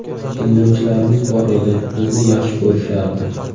Tinglovchilarimiz bor edi, bizni yaxshi ko‘rishardi.